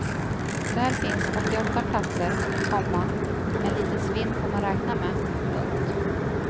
Där finns åttioåtta platser, komma men lite svinn får man räkna med. punkt